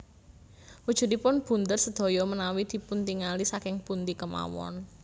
Wujudipun bunder sedaya menawi dipuntingali saking pundi kemawon